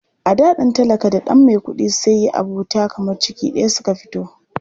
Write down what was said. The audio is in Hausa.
A da ɗan talaka da ɗan maikuɗi sai yi abota kamar ciki ɗaya suka fito.